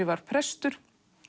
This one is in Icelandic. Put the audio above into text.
varð prestur